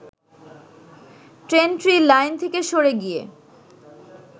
ট্রেনটি লাইন থেকে সরে গিয়ে